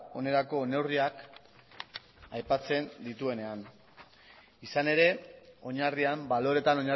onerako neurriak aipatzen dituenean izan ere oinarrian baloreetan